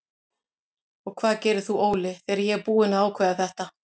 Og hvað gerir þú Óli þegar ég er búinn að ákveða þetta?